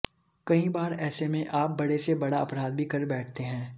कई बार ऐसे में आप बड़े से बड़ा अपराध भी कर बैठते हैं